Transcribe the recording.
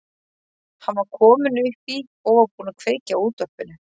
Hann var kominn upp í og búinn að kveikja á útvarpinu.